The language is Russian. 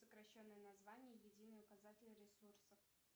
сокращенное название единый указатель ресурсов